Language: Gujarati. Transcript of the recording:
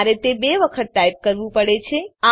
મારે તે બે વખત ટાઈપ કરવું પડે છે